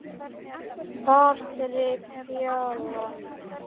Patrik Fjalar.